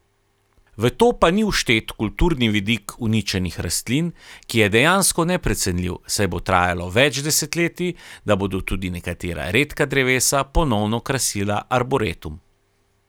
V to pa ni vštet kulturni vidik uničenih rastlin, ki je dejansko neprecenljiv, saj bo trajalo več desetletij, da bodo tudi nekatera redka drevesa ponovno krasila arboretum.